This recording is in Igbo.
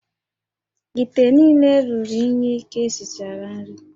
íté niile ruru unyi ka esichara nri